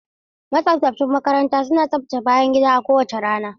Mataimakan makaranta suna tsaftace bayan gida a kowace rana.